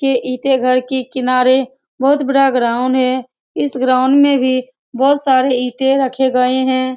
के ईटें घर के किनारे बहुत बड़ा ग्राउंड है इस ग्राउंड में भी बहुत सारे ईटें रखे गये हैं ।